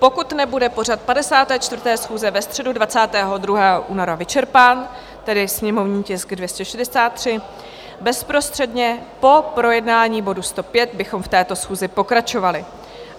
Pokud nebude pořad 54. schůze ve středu 22. února vyčerpán, tedy sněmovní tisk 263, bezprostředně po projednání bodu 105 bychom v této schůzi pokračovali.